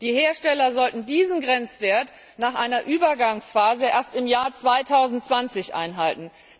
Die Hersteller sollten diesen Grenzwert nach einer Übergangsphase erst im Jahr 2020 einhalten.